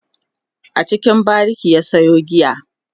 a cikin bariki ya Sayo giya